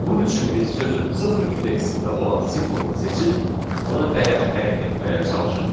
Bunun üçün biz sözün sıfır indeksində olan simvolunu seçib, ona dəyər təyin etməyə çalışaq.